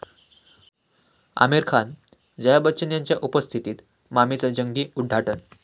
आमिर खान, जया बच्चन यांच्या उपस्थितीत 'मामि'चं जंगी उद्घाटन